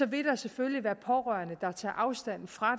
vil der selvfølgelig være pårørende der tager afstand fra